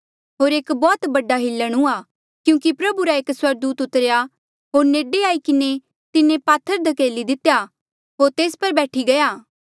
होर एक बौह्त बड़ा हिलण हुआ क्यूंकि प्रभु रा एक स्वर्गदूत उतरेया होर नेडे आई किन्हें तिन्हें पात्थर धकेली दितेया होर तेस पर बैठी गया